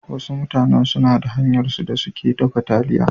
Wasu mutanen suna da hanyarsu da suke dafa taliya.